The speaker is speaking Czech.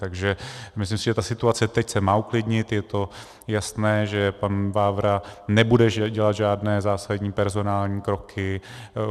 Takže myslím si, že ta situace teď se má uklidnit, je to jasné, že pan Vávra nebude dělat žádné zásadní personální kroky.